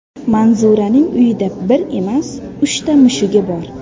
Manzuraning uyida bir emas, uchta mushugi bor.